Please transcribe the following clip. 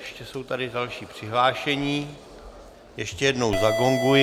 Ještě jsou tady další přihlášení, ještě jednou zagonguji.